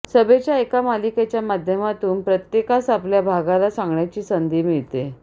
सभेच्या एका मालिकेच्या माध्यमातून प्रत्येकास आपल्या भागाला सांगण्याची संधी मिळते